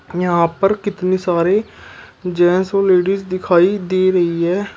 यहां पर कितनी सारे जेंस और लेडिज दिखाई दे रही हैं।